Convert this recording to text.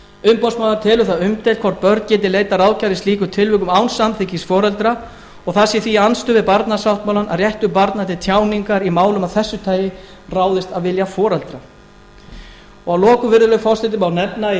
umboðsmaður telur það umdeilt hvort börn geti leitað ráðgjafar í slíkum tilfellum án samþykkis foreldra og það sé því í andstöðu við barnasáttmálann að réttur barna til tjáningar í málum af þessu tagi ráðist af vilja foreldra að lokum virðulegi forseti má nefna í